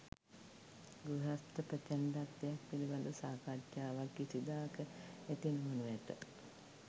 ගෘහස්ථ ප්‍රචණ්ඩත්වයක් පිළිබඳ සාකච්ඡාවක් කිසිදාක ඇති නොවනු ඇත.